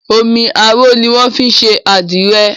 Omi arò ni wọ́n fi ń ṣe adire